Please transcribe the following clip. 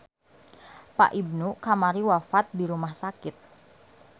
Pak Ibnu kamari wafat di rumah sakit